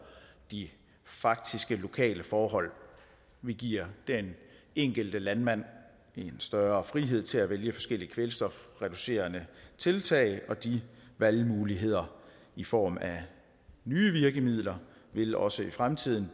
de faktiske lokale forhold vi giver den enkelte landmand en større frihed til at vælge forskellige kvælstofreducerende tiltag og de valgmuligheder i form af nye virkemidler vil også i fremtiden